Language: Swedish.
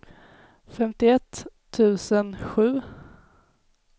femtioett tusen sju